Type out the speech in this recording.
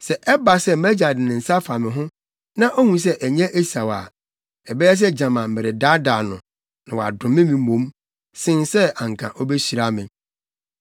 Sɛ ɛba sɛ mʼagya de ne nsa fa me ho, na ohu sɛ ɛnyɛ Esau a, ɛbɛyɛ sɛ gyama meredaadaa no, na wadome me mmom, sen sɛ anka obehyira me.”